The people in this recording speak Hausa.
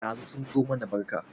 Ɗazu sun zo mana barka